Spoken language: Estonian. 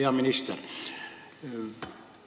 Hea minister!